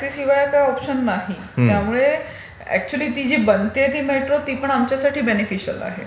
इकडे टॅक्सीशिवाय दूसरा काही ऑप्शन नाही. त्यामुळे अकचुली जी बनतेय ती मेट्रो ती पण आमच्यासाठी बेंनीफिशियल आहे.